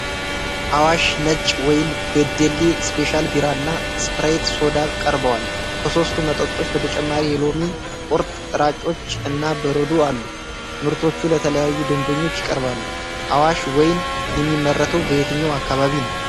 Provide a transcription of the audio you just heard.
አዋሽ ነጭ ወይን፣ ቤደሌ ስፔሻል ቢራ እና ስፕራይት ሶዳ ቀርበዋል። ከሶስቱ መጠጦች በተጨማሪ የሎሚ ቁርጥራጮች እና በረዶ አሉ። ምርቶቹ ለተለያዩ ደንበኞች ይቀርባሉ። አዋሽ ወይን የሚመረተው በየትኛው አካባቢ ነው?